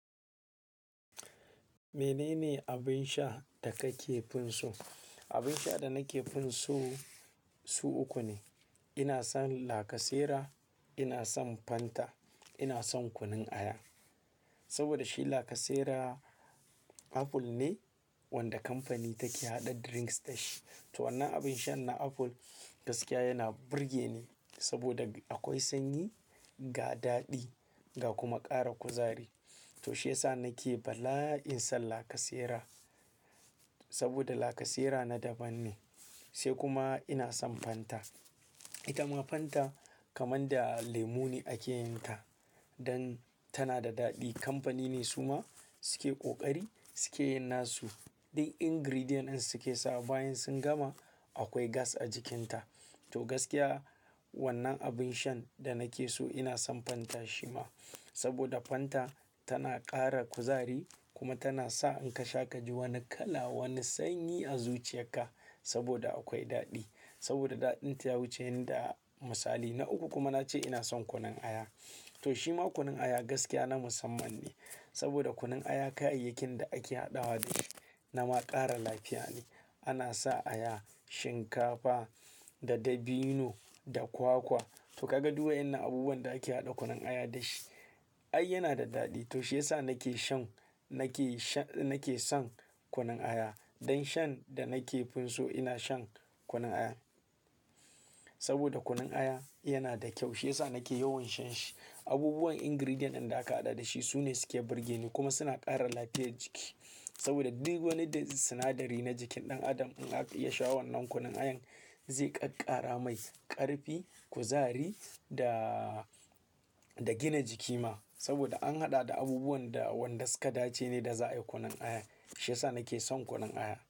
Menene abin sha da kake fin so? Abin sha da nake fin so su uku ne. Ina son lacasera, ina son Fanta, ina son kunun aya. Saboda shi lacasera Apple ne wanda kamfani take haɗa drinks da shi. To wannan abin shan na Apple gaskiya yana burge ni saboda akwai sanyi, ga daɗi, ga kuma ƙara kuzari. To shiyasa nake bala'in san lacasera saboda lacasera na daban ne. Sai kuma ina son Fanta. Ita ma Fanta kamar da lemu ne ake yin ta don tana da daɗi. Kamfani ne su ma suke ƙoƙari suke yin nasu duk ingredient ɗin suke sawa bayan sun gama akwai gas a jikinta. To gaskiya wannan abin shan da nake so ina son Fanta shi ma saboda Fanta tana ƙara kuzari kuma tana sa in ka sha ka ji wani kala wani sanyi a zuciyarka saboda akwai daɗi saboda daɗinta ya wuce yanda misali. Na uku kuma na ce ina son kunun aya. To shi ma kunun aya gaskiya na musamman ne saboda kunun aya kayayyakin da ake haɗawa da shi nama ƙara lafiya ne. Ana sa aya, shinkafa da dabino da kwakwa. To ka ga duk wayen na abubuwan da ake haɗa kunun aya da shi. Ai yana da daɗi. To shiyasa nake shan nake sha-- nake son kunun aya. Don shan da nake fin so ina shan kunun aya. Saboda kunun aya yana da kyau shiyasa nake yawan shan shi. Abubuwan ingredient ɗin da aka haɗa da shi su ne suke burge ni kuma suna ƙara lafiyar jiki. Saboda duk wani da sinadari na jikin ɗan adam in aka iya sha wannan kunun ayan zai ƙaƙkara mai ƙarfi, kuzari da, da gina jiki ma saboda an haɗa da abubuwan da wanda suka dace ne da za'a yi kunun aya. Shiyasa nake son kunun aya.